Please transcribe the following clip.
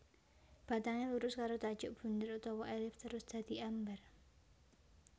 Batangé lurus karo tajuk bundher utawa élips terus dadi ambar